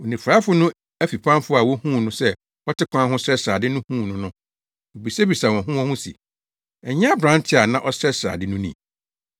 Onifuraefo no afipamfo a wohuu no sɛ ɔte kwan ho srɛsrɛ ade no huu no no, wobisabisaa wɔn ho wɔn ho se, “Ɛnyɛ aberante a na ɔsrɛsrɛ ade no ni?”